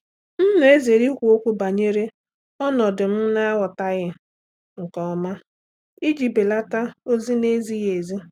M na-ezere ikwu okwu banyere ọnọdụ m na-aghọtaghị nke ọma iji belata ozi na-ezighị ezi.